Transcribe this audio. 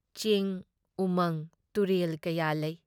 ꯆꯤꯡ, ꯎꯃꯪ ꯇꯨꯔꯦꯜ ꯀꯌꯥ ꯂꯩ ꯫